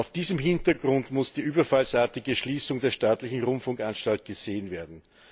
Vor diesem Hintergrund muss die überfallsartige Schließung der staatlichen Rundfunkanstalt gesehen werden.